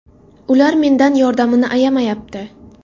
Ular mendan yordamini ayamayapti.